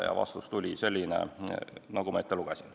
Ja vastus tuli selline, nagu ma ennist ette lugesin.